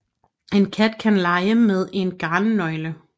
En kat kan lege med en garnnøgle